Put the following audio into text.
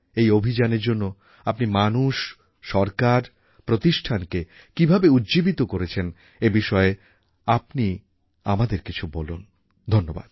এই অভিযানের জন্য আপনি মানুষ সরকার প্রতিষ্ঠানকে কীভাবে উজ্জীবিত করেছেন এই বিষয়ে আপনি আমাদের কিছু বলুন ধন্যবাদ